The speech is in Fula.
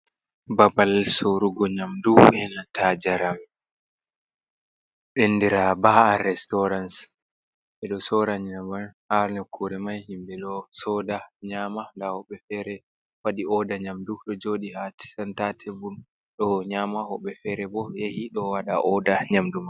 Babal sorrugo nyamdu, enanta jaram, andira ba’a restoran ɓe ɗo sorra nyamadu ha nokkure mai, himɓe ɗo soda nyama nda woɓɓe fere wadi oda nyamdu ɗo jooɗi ha centa tebul ɗo nyama, wobɓe fere bo yahi ɗo waɗaa oda nyamdu.